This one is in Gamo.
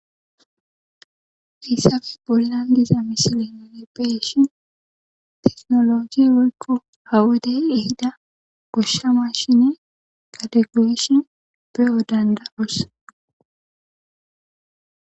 Hayssa bollan diza misilen nuni be'ishin teknolojey woykko ha wodey ehida goshsha maashiney gade goyishin be'o danda'os.